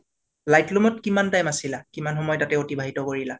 লৈত্লুম t কিমান time আছিলা? কিমান সময় ততে অতিবাহিত কৰিলা?